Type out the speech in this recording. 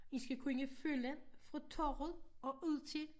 I skal kunne følge fra torvet og ud til